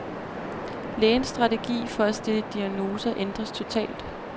Lægens strategi for at stille diagnoser ændredes totalt.